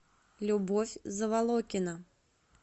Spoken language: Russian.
любовь заволокина